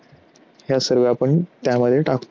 ह्या सर्व्या आपण त्यामध्ये टाकतो.